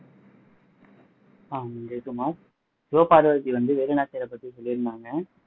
சிவபார்வதி வந்து வேலுநாச்சியாரை பத்தி சொல்லி இருந்தாங்க